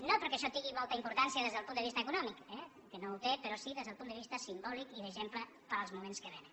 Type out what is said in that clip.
no perquè això tingui molta importància des del punt de vista econòmic eh que no la té però sí des del punt de vista simbòlic i d’exemple per als moments que vénen